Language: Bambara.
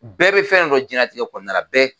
Bɛɛ bɛ fɛn dɔ dɔn diɲɛlatigɛ kɔnɔna na, bɛɛ!